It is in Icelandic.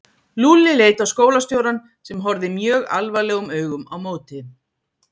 Lúlli leit á skólastjórann sem horfði mjög alvarlegum augum á móti.